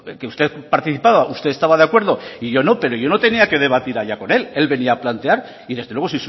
que usted participaba usted estaba de acuerdo y yo no pero yo no tenía que debatir allá con él él venía a plantear y desde luego